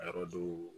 A yɔrɔ do